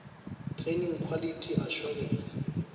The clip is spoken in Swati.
training quality assurance